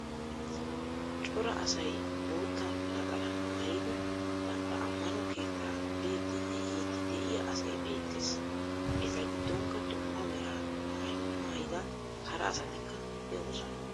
Cora asay botta naxaalaa maayidi bantta ammanno keettaa biyddinne yiydi de'iya asay beettees. Eeta giddonkka duummaa meraa maayuwaa maayidaa haraa asatikka de'osona.